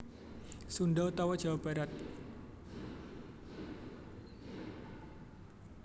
Sunda utawa Jawa Barat